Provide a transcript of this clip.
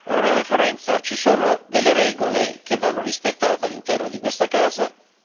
Onorevole Forenza, ci sono delle regole che vanno rispettate all'interno di questa casa.